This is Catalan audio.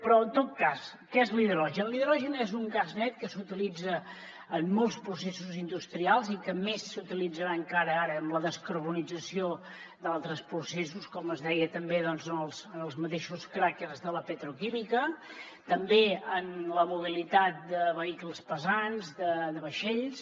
però en tot cas que és l’hidrogen l’hidrogen és un gas net que s’utilitza en molts processos industrials i que més s’utilitzarà encara ara amb la descarbonització d’altres processos com es deia també en els mateixos cràquers de la petroquímica també en la mobilitat de vehicles pesants de vaixells